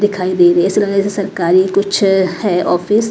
दिखाई दे रही है ऐसे सरकारी कुछ अ ऑफिस .